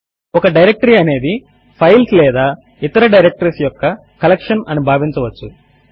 ఒక డైరెక్టరీ అనేది ఫైల్స్ లేదా ఇతర డైరెక్టరీస్ యొక్క కలెక్షన్ అని భావించవచ్చు